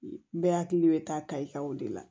Bɛɛ hakili bɛ taa kaye kan o de la